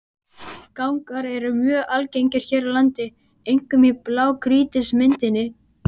Gangar eru mjög algengir hér á landi, einkum í blágrýtismynduninni.